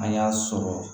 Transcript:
An y'a sɔrɔ